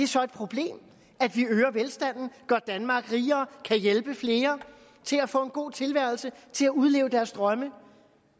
så et problem at vi øger velstanden gør danmark rigere kan hjælpe flere til at få en god tilværelse og til at udleve deres drømme